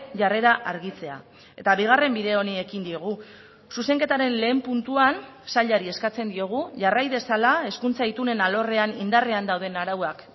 jarrera argitzea eta bigarren bide honi ekin diogu zuzenketaren lehen puntuan sailari eskatzen diogu jarrai dezala hezkuntza itunen alorrean indarrean dauden arauak